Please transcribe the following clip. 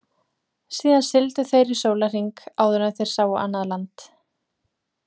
Síðan sigldu þeir í sólahring áður en þeir sáu annað land.